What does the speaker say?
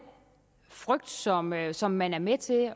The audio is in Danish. frygt som man som man er med til